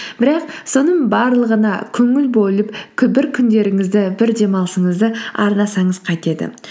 бірақ соның барлығына көңіл бөліп бір күндеріңізді бір демалысыңызды арнасаңыз қайтеді